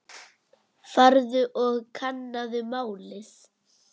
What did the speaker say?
Farðu og kannaðu málið.